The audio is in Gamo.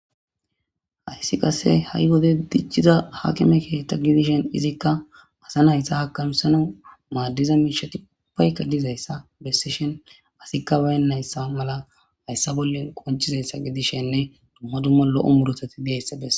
hayssi qasse ha7i wode dicciza haakime keethta gidishen izikka asa nayssa hakamsana maaddiza miishati upayka dizayssa bessishen asikka baynayssa mala hayssa bollen qonchizayssa gidishenne dumma dumma lo7o murotati deessabes